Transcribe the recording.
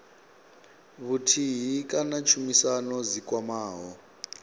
vhuthihi kana tshumisano dzi kwamaho